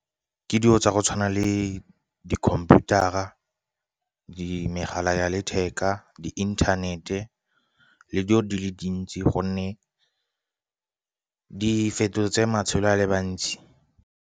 Ke dilo tsa go tshwana le di-computer-a, di megala ya letheka, di inthanete, le dilo di le dintsi gonne di fetotse matshelo a le bantsi.